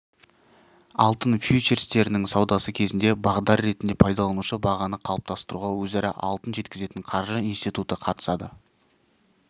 алтын фьючерстерінің саудасы кезінде бағдар ретінде пайдаланылады бағаны қалыптастыруға өзара алтын жеткізетін қаржы институты қатысады